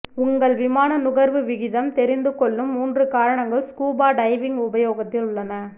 உங்கள் விமான நுகர்வு விகிதம் தெரிந்துகொள்ளும் மூன்று காரணங்கள் ஸ்கூபா டைவிங் உபயோகத்தில் உள்ளன